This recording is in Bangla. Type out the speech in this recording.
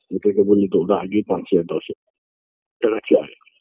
ওদেরকে বললে তো ওরা অগেই পাঁচ হাজার দশেক টাকা চায়